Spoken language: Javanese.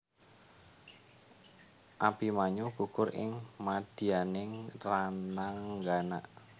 Abimanyu gugur ing madyaning rananggana